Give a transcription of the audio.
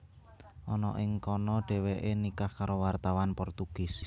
Ana ing kana Dhèwèké nikah karo wartawan Portugis